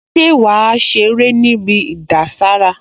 Ṣé wàá ṣeré níbi ìdására?